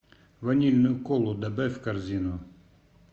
ванильную колу добавь в корзину